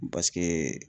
Paseke